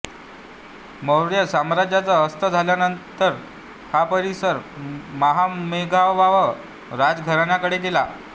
मौर्य साम्राज्याचा अस्त झाल्यानंतर हा परिसर महामेघववाह राजघराण्याकडे गेला